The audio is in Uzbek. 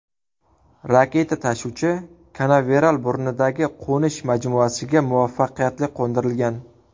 Raketa-tashuvchi Kanaveral burnidagi qo‘nish majmuasiga muvaffaqiyatli qo‘ndirilgan.